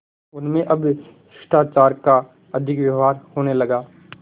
उनमें अब शिष्टाचार का अधिक व्यवहार होने लगा